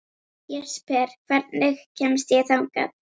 Jesper, hvernig kemst ég þangað?